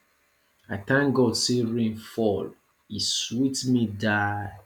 i thank god say rain fall e sweet me die